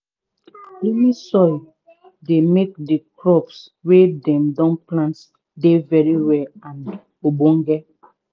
loamy soil dey make the crops wey dem don plant dey very well and ogdonge.